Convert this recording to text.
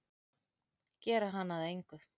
Gera hana að engu.